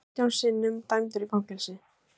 Átján sinnum dæmdur í fangelsi